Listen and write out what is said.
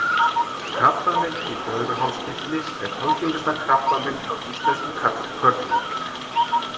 krabbamein í blöðruhálskirtli er algengasta krabbamein hjá íslenskum körlum